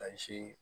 Ka si